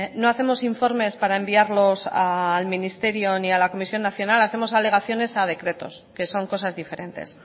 no hacemos informes para enviarlos al ministerio ni a la comisión nacional hacemos alegaciones a decretos que son cosas diferentes